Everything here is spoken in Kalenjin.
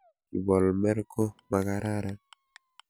Kibolmer ko makararan.